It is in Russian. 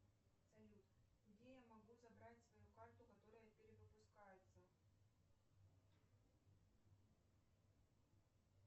салют где я могу забрать свою карту которая перевыпускается